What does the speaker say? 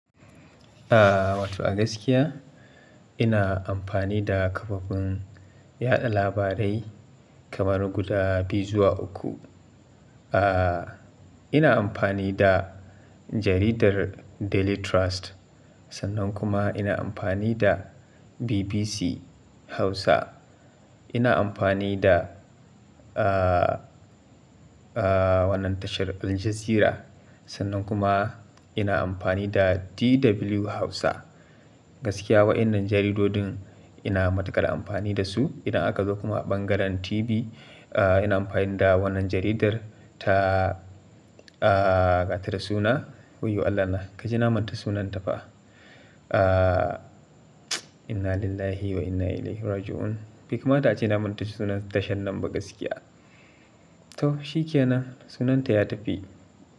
Wato a gaskiya ina amfani da kafafen yaɗa labarai kamar guda biyu zuwa uku. Ina amfani da jaridar Daily Trust, sannan kuma ina amfani da BBC Hausa. Ina amfani da, wannan tashar Al Jazeera, sannan kuma ina amfani da DW Hausa. Gaskiya waɗannan jaridodin ina matuƙar amfani da su. Idan aka zo kuma a ɓangaren TV, ina amfani da wannan jaridar ta, gata da suna. Wayyo Allah na kaji na manta sunanta fa. Inna lillahi wa inna ilaihi raji'un. Beka mata a ce na manta sunan tashar nan ba gaskiya. To shi ke nan, sunanta ya tafi.